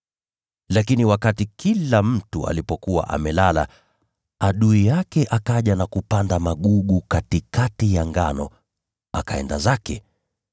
Lakini wakati kila mtu alipokuwa amelala, adui yake akaja na kupanda magugu katikati ya ngano, akaenda zake.